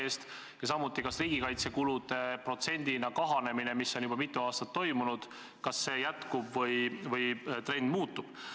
Samuti näeme, kas riigikaitsekulude protsendina kahanemine, mis on juba mitu aastat toimunud, jätkub või trend muutub.